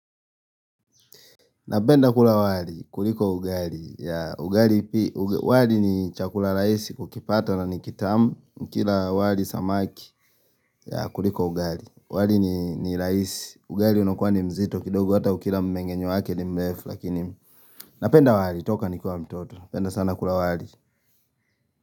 Napenda kula wali kuliko ugari ya ugari pi wali ni chakula raisi kukipata na nikitamu nikila wali samaki ya kuliko ugari wali ni rahisi ugari unakuwa ni mzito kidogo hata ukila mmenge nyewake ni mlefu lakini napenda wali toka nikuwe mtoto napenda sana kula wali.